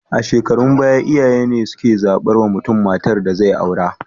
A shukarun baya iyaye ne suke zabar wa mutun matar da zai aura